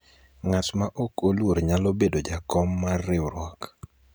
ngat ma ok oluor nyalo bedo jakom mar riwruok